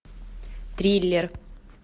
триллер